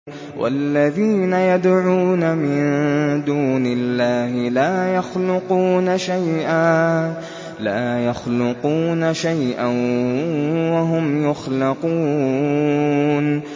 وَالَّذِينَ يَدْعُونَ مِن دُونِ اللَّهِ لَا يَخْلُقُونَ شَيْئًا وَهُمْ يُخْلَقُونَ